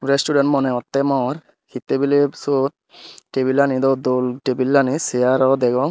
resturen moneh hottey mor hittey biley syot tebilanid o dol tebilani seyaro degong.